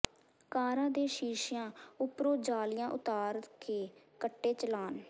ਕਾਰਾਂ ਦੇ ਸ਼ੀਸ਼ਿਆ ਉਪਰੋਂ ਜਾਲੀਆਂ ਉਤਾਰ ਕੇ ਕੱਟੇ ਚਲਾਨ